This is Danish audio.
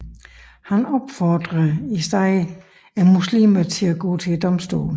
Han opfordrer i stedet muslimerne til at gå til domstolene